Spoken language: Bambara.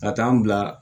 Ka taa n bila